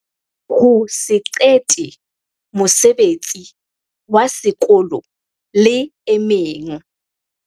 Ho se qete mosebetsi wa sekolo le e meng.